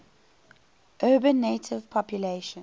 urban native population